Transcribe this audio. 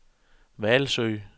Hvalsø